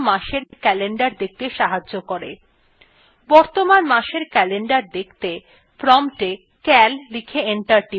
বর্তমান মাসএর calendar দেখতে prompt এ cal লিখে enter টিপুন